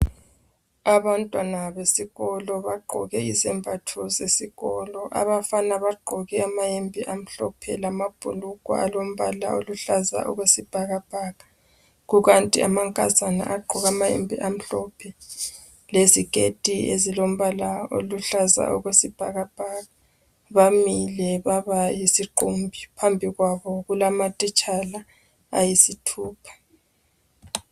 Abantwana besikolo bagqoke izembatho zesikolo. Abafana bagqoke amayembe amhlophe lamabhulugwe alombala oluhlaza okwesibhakabhaka. Kukanti amankazana agqoke amayembe amhlophe, leziketi ezilombala oluhlaza okwesibhakabhaka. Bamile babayisiqumbi. Phambi kwabo kulamatitshala ayisithupha.